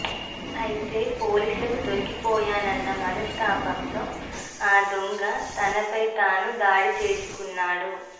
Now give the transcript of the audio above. ఐతే పోలీసులకు దొరికిపోయానన్న మనస్థాపంతో ఆ దొంగ తనపై తాను దాడిచేసుకున్నాడు